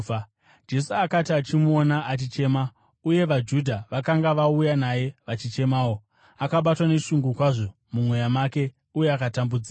Jesu akati achimuona achichema, uye vaJudha vakanga vauya naye vachichemawo, akabatwa neshungu kwazvo mumweya make uye akatambudzika.